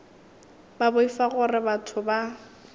ba boifa gore batho ba